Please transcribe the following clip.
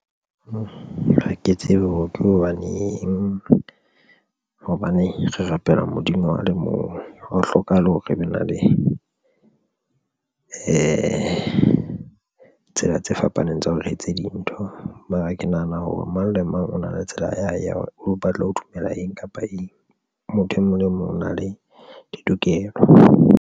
Ha ke tsebe ho thwe hobaneng hobane re rapela Modimo a le mong. Ha ho hlokahale hore e be na le tsela tse fapaneng tsa hore re etse dintho. Mara ke nahana hore mang le mang o na le tsela ya hae ya hore o batla ho dumela eng kapa eng. Motho e mong le mong o na le ditokelo.